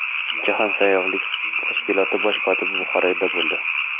Jahon sayyohlik tashkiloti bosh kotibi Buxoroda bo‘ldi.